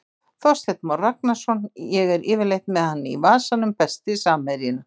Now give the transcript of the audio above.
Þorsteinn Már Ragnarsson, ég er yfirleitt með hann í vasanum Besti samherjinn?